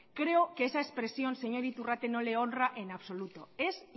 creo que esa expresión señor iturrate no le honra en absoluto es